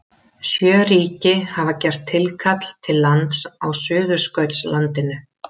Sjö ríki hafa gert tilkall til lands á Suðurskautslandinu.